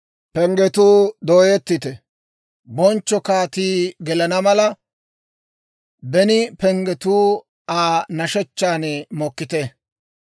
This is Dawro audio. Penggetuu dooyettite! Bonchcho kaatii gelana mala; beni penggatuu Aa nashechchaan mokkite!